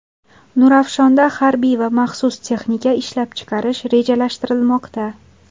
Nurafshonda harbiy va maxsus texnika ishlab chiqarish rejalashtirilmoqda.